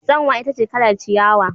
Tsanwa ita ce kalar ciyawa.